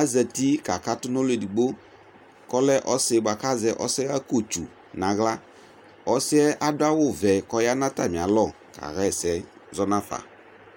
azati kakatʋ nʋ ɔlʋ edigbo kʋ ɔlɛ ɔsɩ bʋa kʋ azɛ ɔsɛɣakotsu nʋ aɣla Ɔsɩ yɛ adʋ awʋvɛ kʋ ɔya nʋ atamɩalɔ kaɣa ɛsɛ zɔ nafa